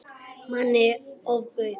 Manni ofbauð.